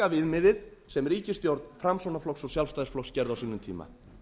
lækka viðmiðið sem ríkisstjórn framsóknarflokks og sjálfstæðisflokks gerði á sínum tíma